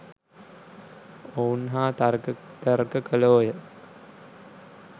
ඔවුන් හා තර්ක විතර්ක කළෝය.